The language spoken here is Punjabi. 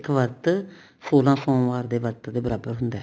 ਇੱਕ ਵਰਤ ਸੋਲਾਂ ਸੋਮਵਾਰ ਦੇ ਵਰਤ ਦੇ ਬਰਾਬਰ ਹੁੰਦਾ